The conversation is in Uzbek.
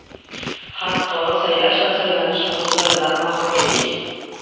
Hatto, saylash va saylanish huquqlaridan mahrum edik.